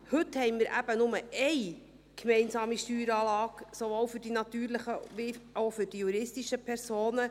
Heute haben wir nur gemeinsame Steueranlage, sowohl für die natürlichen als auch für die juristischen Personen.